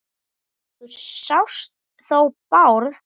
Þú sást þó Bárð?